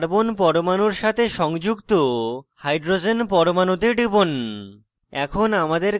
দ্বিতীয় carbon পরমাণুর সাথে সংযুক্ত hydrogen পরমাণুতে টিপুন